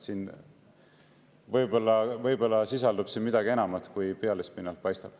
Siin võib-olla sisaldub midagi enamat, kui pealispinnalt paistab.